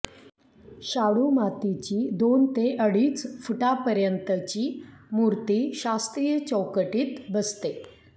शाडू मातीची दोन ते अडीच फुटांपर्यंतची मूर्ती शास्त्रीय चौकटीत बसते